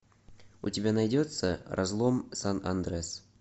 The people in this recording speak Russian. у тебя найдется разлом сан андреас